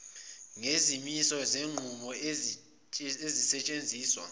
ngezimiso zezinqumo ezisetshenziswa